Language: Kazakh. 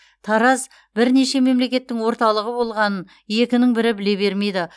тараз бірнеше мемлекеттің орталығы болғанын екінің бірі біле бермейді